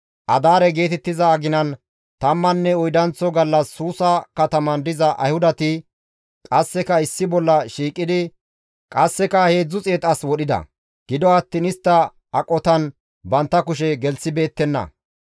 Adaare geetettiza aginan tammanne oydanththo gallas Suusa kataman diza Ayhudati qasseka issi bolla shiiqidi qasseka 300 as wodhida; gido attiin istta aqotan bantta kushe gelththibeettenna.